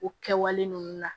O kɛwale ninnu na